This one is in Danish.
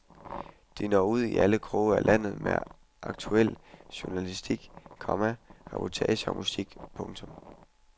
De når ud i alle kroge af landet med aktuel journalistik, komma reportager og musik. punktum